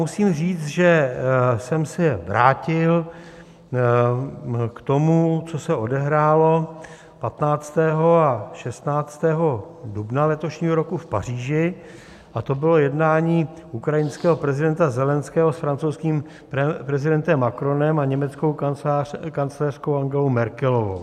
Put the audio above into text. Musím říct, že jsem se vrátil k tomu, co se odehrálo 15. a 16. dubna letošního roku v Paříži, a to bylo jednání ukrajinského prezidenta Zelenského s francouzským prezidentem Macronem a německou kancléřkou Angelou Mergelovou.